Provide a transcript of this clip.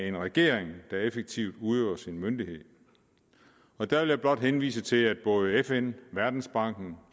en regering der effektivt udøver sin myndighed der vil jeg blot henvise til at både fn verdensbanken